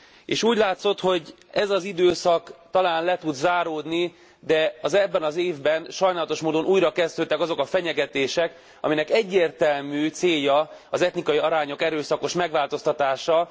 És úgy látszott, hogy ez az időszak talán le tud záródni, de az ebben az évben sajnálatos módón újrakezdődtek azok a fenyegetések, aminek egyértelmű célja az etnikai arányok erőszakos megváltoztatása.